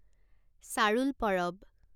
চাৰুল পৰৱ